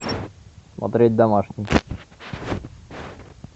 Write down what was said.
смотреть домашний